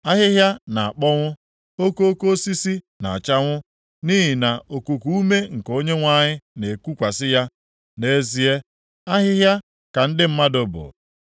Ahịhịa na-akpọnwụ, okoko osisi na-achanwụ, + 40:7 Otu a ka ọ dịrị mmadụ. nʼihi nʼokuku ume nke Onyenwe anyị na-ekukwasị ya. Nʼezie, ahịhịa ka ndị mmadụ bụ.